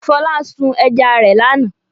Fọlá sun ẹja rẹ̀ lánàá.